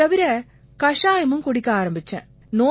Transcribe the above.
இது தவிர கஷாயமும் குடிக்க ஆரம்பிச்சேன்